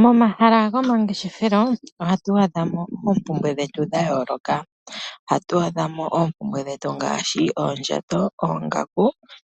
Momahala gomangefeshelo ohatu adhamo oompumbwe dhetu dhayooloka ohatu adhamo oompumbwe dhetu ngaashi oondjato,